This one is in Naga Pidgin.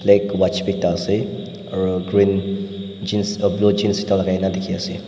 ek watch b ekta ase aro green jeans ah blue jeans ekta lai kena dikey ase.